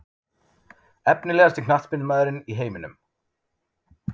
Efnilegasti knattspyrnumaðurinn í heiminum?